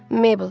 Mabel.